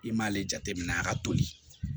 I m'ale jateminɛ a ka toli